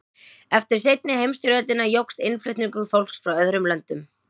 eftir seinni heimsstyrjöldina jókst innflutningur fólks frá öðrum löndum